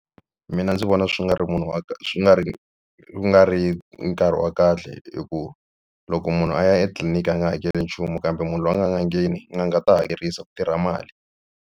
Mina ndzi vona swi nga ri munhu wa swi nga ri nga ri nkarhi wa kahle hi ku loko munhu a ya etliliniki a nga hakeli nchumu kambe munhu loyi a nga ya n'angeni n'anga ta hakerisa ku tirha mali.